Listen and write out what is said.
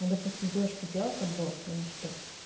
ну допустим девушки делают аборт или что